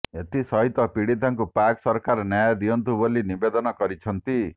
ଏଥିସହ ପୀଡ଼ତାଙ୍କୁ ପାକ ସରକାର ନ୍ୟାୟ ଦିଅନ୍ତୁ ବୋଲି ନିବେଦନ କରିଛନ୍ତି